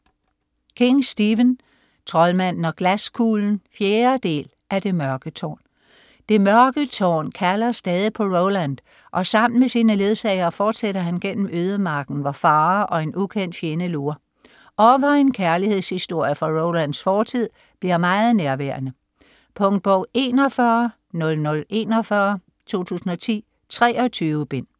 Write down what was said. King, Stephen: Troldmanden og glaskuglen 4. del af Det mørke tårn. Det Mørke Tårn kalder stadig på Roland, og sammen med sine ledsagere fortsætter han gennem ødemarken, hvor farer og en ukendt fjende lurer, og hvor en kærlighedshistorie fra Rolands fortid bliver meget nærværende. Punktbog 410041 2010. 23 bind.